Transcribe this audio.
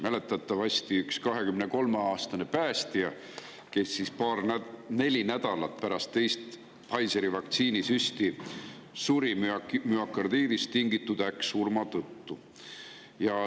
Mäletatavasti oli üks 23-aastane päästja, kes neli nädalat pärast teist Pfizeri vaktsiini süsti suri müokardiidist tingitud äkksurma tõttu.